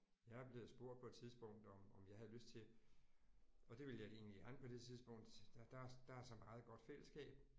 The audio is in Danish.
Jeg er blevet spurgt på et tidspunkt om om jeg havde lyst til og det ville jeg egentlig gerne på det tidspunkt der der er der er så meget godt fællesskab